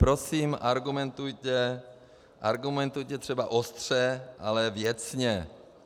Prosím, argumentujte, argumentujte třeba ostře, ale věcně.